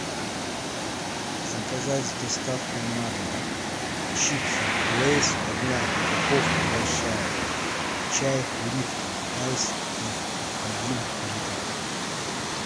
заказать с доставкой на дом чипсы лейс одна упаковка большая чай липтон айс ти один литр